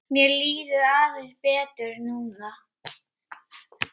Mér líður aðeins betur núna.